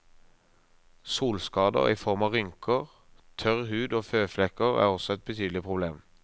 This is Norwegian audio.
Solskader i form av rynker, tørr hud og føflekker er også et betydelig problem.